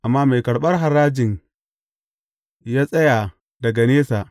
Amma mai karɓar harajin ya tsaya daga nesa.